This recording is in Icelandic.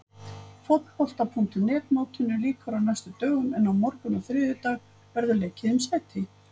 Fótbolta.net mótinu lýkur á næstu dögum en á morgun og þriðjudag verður leikið um sæti.